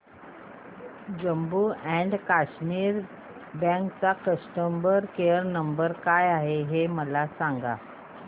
Jammu and Kashmir bank चा customer care number काय आहे हे मला सांगा